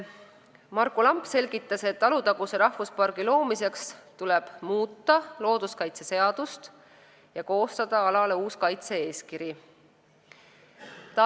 Marku Lamp selgitas, et Alutaguse rahvuspargi loomiseks tuleb muuta looduskaitseseadust ja koostada uus kaitse-eeskiri ala kohta.